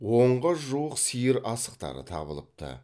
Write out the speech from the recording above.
онға жуық сиыр асықтары табылыпты